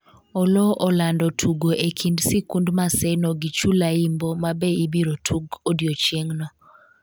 Oloo olando tugo e kind sikund Maseno gi Chulaimbo mabe ibiro tug odiochieng'no